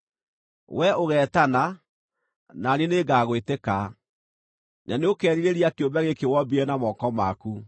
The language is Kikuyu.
Wee ũgetana, na niĩ nĩngagwĩtĩka; na nĩũkeerirĩria kĩũmbe gĩkĩ wombire na moko maku.